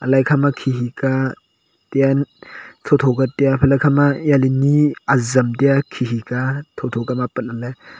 ale ekha ma khe khe ka tiya tho tho ka tiya la ekha ma jale ni azam taiya khe khe ka a tho tho ka ma apat lah ley.